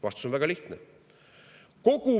Vastus on väga lihtne.